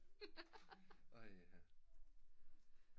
Ej ha